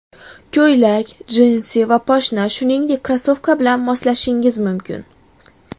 Ko‘ylak, jinsi va poshna, shuningdek, krossovka bilan moslashingiz mumkin.